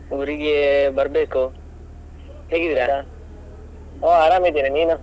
ಊರಿಗೆ ಬರ್ಬೇಕು, ಹೋ ಆರಾಮ್ ಇದ್ದೇನೆ, ನೀನು?